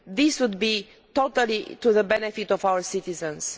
This would be totally to the benefit of our citizens.